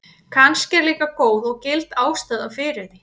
Kannski er líka góð og gild ástæða fyrir því.